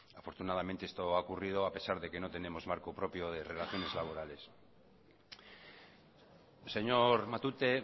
afortunadamente esto ha ocurrido a pesar de que no tenemos marco propio de relaciones laborales señor matute